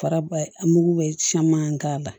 Faraba mugu bɛ caman k'a la